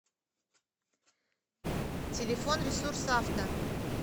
телефон ресурсавто